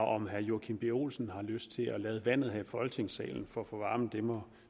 om herre joachim b olsen har lyst til at lade vandet her i folketingssalen for at få varmen må